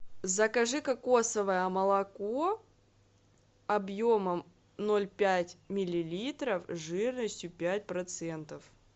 закажи кокосовое молоко объемом ноль пять миллилитров жирностью пять процентов